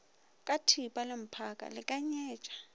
ka thipa le mphaka lekanyetpa